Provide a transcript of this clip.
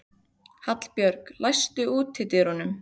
Hallbjörg, læstu útidyrunum.